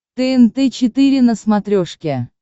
тнт четыре на смотрешке